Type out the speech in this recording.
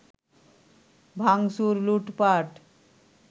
ভাঙচুর, লুটপাট